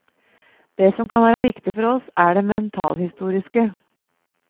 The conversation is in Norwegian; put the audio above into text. Det som kan være viktig for oss er det mentalhistoriske.